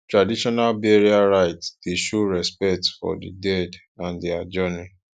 traditional burial rite dey show respect for di dead and their journey